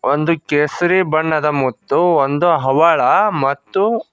ಒಂದು ಕೇಸರಿ ಬಣ್ಣದ ಮುತ್ತು ಒಂದು ಹವಳ ಮತ್ತು--